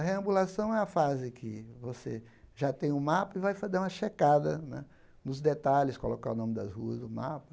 A reambulação é a fase que você já tem um mapa e vai fazer uma checada né nos detalhes, colocar o nome das ruas, no mapa.